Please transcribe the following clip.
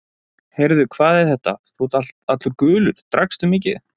Heyrðu, hvað er þetta, þú ert allur gulur, drakkstu mikið?